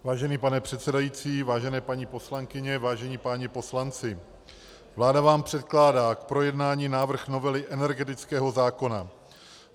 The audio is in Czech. Vážený pane předsedající, vážené paní poslankyně, vážení páni poslanci, vláda vám předkládá k projednání návrh novely energetického zákona.